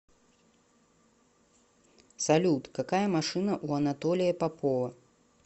салют какая машина у анатолия попова